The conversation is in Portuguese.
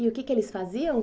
E o que é que eles faziam?